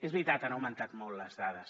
és veritat han augmentat molt les dades